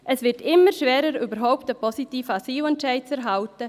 Es wird immer schwieriger, überhaupt einen positiven Asylentscheid zu erhalten.